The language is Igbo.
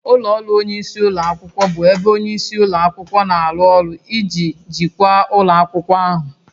Ụlọ ọrụ onyeisi ụlọ akwụkwọ bụ ebe onye isi ụlọ akwụkwọ na-arụ ọrụ iji jikwaa ụlọ akwụkwọ ahụ